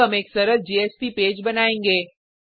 अब हम एक सरल जेएसपी पेज बनाएंगे